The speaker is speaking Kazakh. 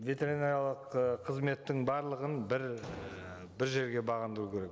ветеринариялық ы қызметтің барлығын бір ііі бір жерге бағындыру керек